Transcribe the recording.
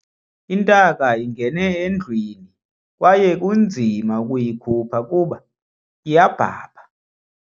Intaka ingene endlwini kwaye kunzima ukuyikhupha kuba iyabhabha.